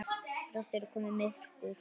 Brátt yrði komið myrkur.